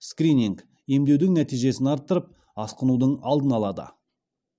скрининг емдеудің нәтижесін арттырып асқынудың алдын алады